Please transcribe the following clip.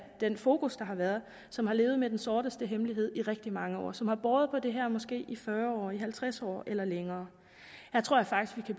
den fokus der har været som har levet med den sorteste hemmelighed i rigtig mange år og som har båret på det her måske i fyrre år i halvtreds år eller længere her tror jeg faktisk vi